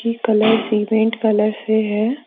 Colour cement colour से है।